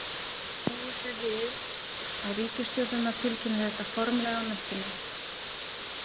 Búist er við að ríkisstjórnirnar tilkynni þetta formlega á næstunni.